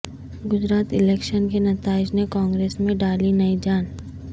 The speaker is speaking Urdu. گجرات الیکشن کے نتائج نے کانگریس میں ڈالی نئی جان